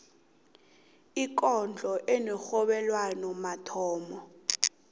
ikondlo enerhobelwano mathomo